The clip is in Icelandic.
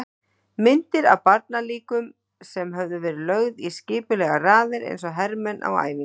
Myndir af barnalíkum sem höfðu verið lögð í skipulegar raðir eins og hermenn á æfingu.